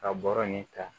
Ka bɔrɔ nin ta